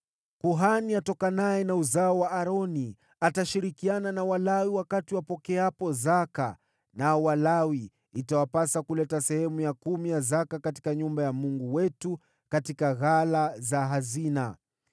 Kuhani atokanaye na uzao wa Aroni atashirikiana na Walawi wakati wanapopokea zaka, nao Walawi itawapasa kuleta sehemu ya kumi ya zaka katika nyumba ya Mungu wetu katika ghala za hazina.